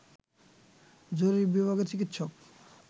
জরুরি বিভাগের চিকিৎসক